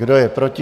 Kdo je proti?